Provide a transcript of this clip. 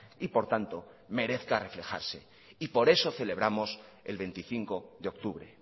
y por tanto merezca reflejarse por eso celebramos el veinticinco de octubre